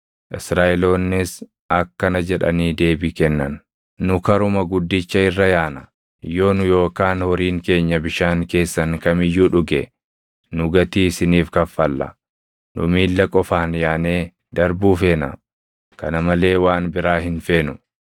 Israaʼeloonnis akkana jedhanii deebii kennan: “Nu karuma guddicha irra yaana; yoo nu yookaan horiin keenya bishaan keessan kam iyyuu dhuge, nu gatii isiniif kaffalla. Nu miilla qofaan yaanee darbuu feena; kana malee waan biraa hin feenu.”